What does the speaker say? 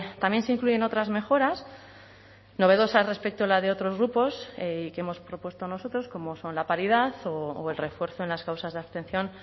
también se incluyen otras mejoras novedosas respecto a la de otros grupos y que hemos propuesto nosotros como son la paridad o el refuerzo en las causas de abstención